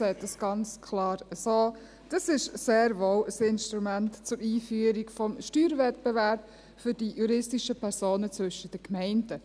Es ist für die juristischen Personen sehr wohl ein Instrument zur Einführung des Steuerwettbewerbs zwischen den Gemeinden.